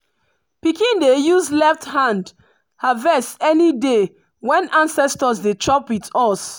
pikin dey use left hand harvest any day when ancestors dey chop with us.